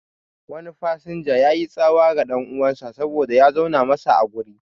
Wani fasinja yayi tsawa ga ɗan'uwansa saboda ya zauna masa a guri